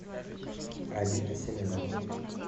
алина семенова